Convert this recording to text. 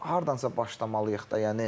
Amma hardansa başlamalıyıq da.